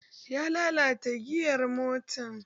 Ya lalata giyar mota